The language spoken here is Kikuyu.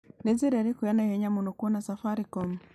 nĩ njĩra ĩriku ya naihenya mũno ya kũona safaricom